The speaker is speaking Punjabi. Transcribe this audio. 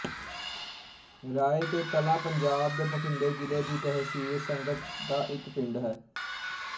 ਰਾਏ ਕੇ ਕਲਾਂ ਪੰਜਾਬ ਦੇ ਬਠਿੰਡੇ ਜ਼ਿਲ੍ਹੇ ਦੀ ਤਹਿਸੀਲ ਸੰਗਤ ਦਾ ਇੱਕ ਪਿੰਡ ਹੈ